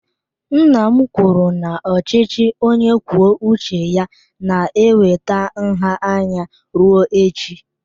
Nna m kwuru na ochichi onye kwuo uche ya na-eweta nha anya rue echi.